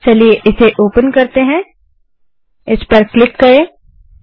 चलिए इसे ओपन करते हैं केल्क्युलेटर पर क्लिक करें